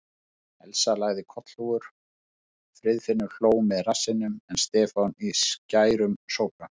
Elsa lagði kollhúfur, Friðfinnur hló með rassinum en Stefán í skærum sópran.